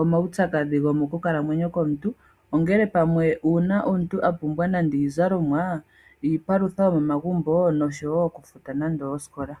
omawutsadhi gomo ku kalamwenyo komuntu. Ongele pamwe una omuntu a pumbwa nande iizalomwa, iipalutha yomomagumbo noshowo oku futa nande oosikola.